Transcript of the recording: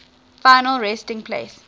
final resting place